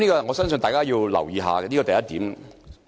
我相信大家要留意一下，這是第一點。